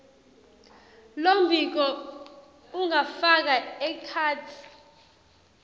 lombiko ungafaka ekhatsi